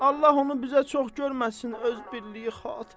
Allah onu bizə çox görməsin öz birliyi xatirinə.